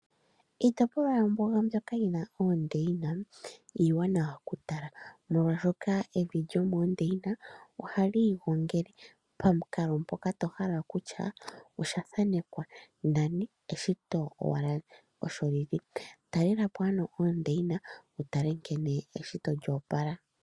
Iitipolwa yombuga mbyoka yina oondeyina iiwanawa okutala naashoka evi lyomoondeyina ohalii igongele pamukalo mpoka to hala okutyaa pwathanekwa nani eshito owala osholili talelapo ano owala oondeyina wutale nkene eshito lyoopala.